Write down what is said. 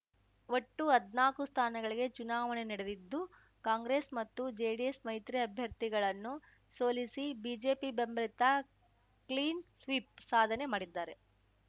ಒಟ್ಟು ಹದ್ನಾಕು ಸ್ಥಾನಗಳಿಗೆ ಚುನಾವಣೆ ನಡೆದಿದ್ದು ಕಾಂಗ್ರೆಸ್‌ ಮತ್ತು ಜೆಡಿಎಸ್‌ ಮೈತ್ರಿ ಅಭ್ಯರ್ಥಿಗಳನ್ನು ಸೋಲಿಸಿ ಬಿಜೆಪಿ ಬೆಂಬಲಿತ ಕ್ಲೀನ್‌ ಸ್ವೀಪ್‌ ಸಾಧನೆ ಮಾಡಿದ್ದಾರೆ